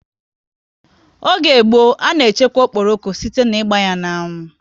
Oge gboo, a na echekwa okporoko site ná ịgba ya n'anwu